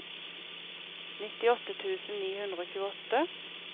nittiåtte tusen ni hundre og tjueåtte